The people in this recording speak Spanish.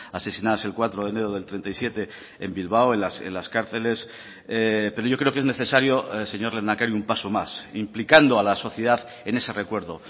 asesinadas el cuatro de enero del treinta y siete en bilbao en las cárceles pero yo creo que es necesario señor lehendakari un paso más implicando a la sociedad en ese recuerdo